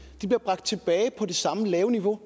bliver bragt tilbage på det samme lave niveau